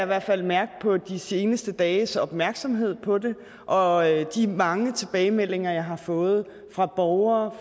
hvert fald mærke på de seneste dages opmærksomhed på det og de mange tilbagemeldinger jeg har fået fra borgere